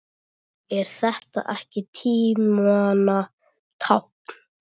Er þetta ekki tímanna tákn?